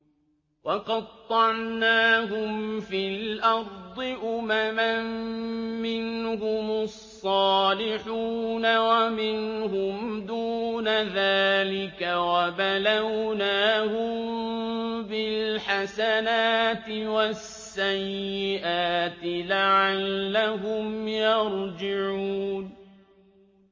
وَقَطَّعْنَاهُمْ فِي الْأَرْضِ أُمَمًا ۖ مِّنْهُمُ الصَّالِحُونَ وَمِنْهُمْ دُونَ ذَٰلِكَ ۖ وَبَلَوْنَاهُم بِالْحَسَنَاتِ وَالسَّيِّئَاتِ لَعَلَّهُمْ يَرْجِعُونَ